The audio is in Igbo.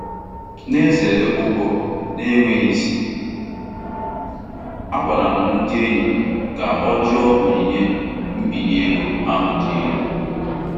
Na-ezere ụgwọ na-enweghị isi, a gwara m ndị enyi m ka ọ jụ onyinye mbinye ego ahụ dị elu.